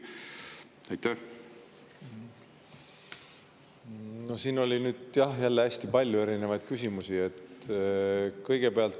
Siin oli, jah, jälle hästi palju erinevaid küsimusi.